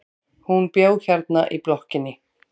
Hún bjó hérna í blokkinni.